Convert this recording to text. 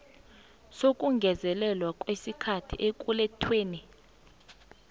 sokungezelelwa kwesikhathi ekulethweni